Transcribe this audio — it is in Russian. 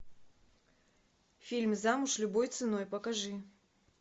фильм замуж любой ценой покажи